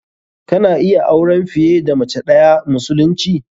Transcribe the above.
Kana iya auren fiye da mace ɗayaa musulunci.